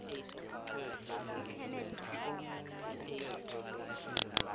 ngimuphi omunye umthetho